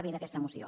b d’aquesta moció